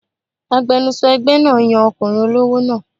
Agbẹnusọ ẹgbẹ́ náà yan ọkùnrin olówó náà